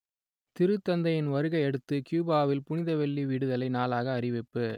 திருத்தந்தையின் வருகையை அடுத்து கியூபாவில் புனித வெள்ளி விடுதலை நாளாக அறிவிப்பு